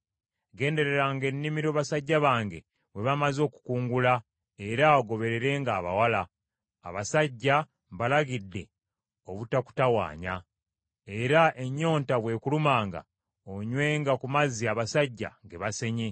Gendereranga ennimiro basajja bange mwe bamaze okukungula, era ogobererenga abawala. Abasajja mbalagidde obutakutawanya. Era ennyonta bw’ekulumanga, onywenga ku mazzi abasajja ge basenye.”